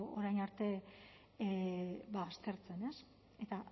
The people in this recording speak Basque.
orain arte aztertzen eta